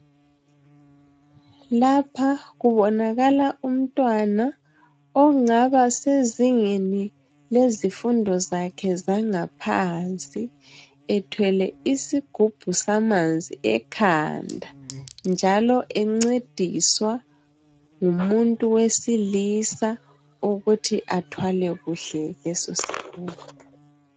Lapha kubonakala umntwana ongaba sezingeni lezifundo zakhe zangaphansi ethwele isigubhu samanzi ekhanda . Njalo encediswa ngumuntu wesilisa ukuthi athwale kuhle leso sigubhu.